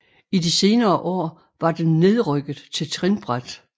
I de senere år var den nedrykket til trinbræt